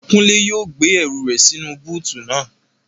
Kúnlé yóò gbé ẹrù rẹ̀ sínú búùtù naa